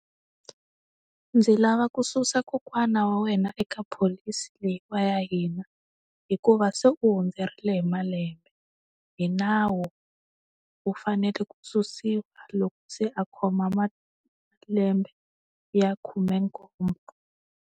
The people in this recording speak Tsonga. Ndzi lava ku susa kokwana wa wena eka pholisi leyiwa ya hina, hikuva se u hundzeriwile malembe. Hi nawu, u fanele ku susiwa loko se a khoma malembe ya khume nkombo.